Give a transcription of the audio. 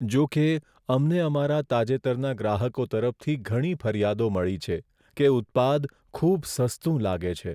જો કે, અમને અમારા તાજેતરના ગ્રાહકો તરફથી ઘણી ફરિયાદો મળી છે, કે ઉત્પાદ ખૂબ સસ્તું લાગે છે.